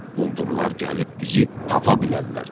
Quldurlar gəlib bizi tapa bilərlər.